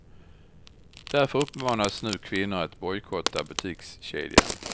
Därför uppmanas nu kvinnor att bojkotta butikskedjan.